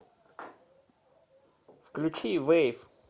включи вэйв